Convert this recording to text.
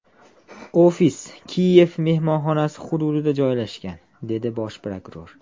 Ofis ‘Kiyev’ mehmonxonasi hududida joylashgan”, dedi bosh prokuror.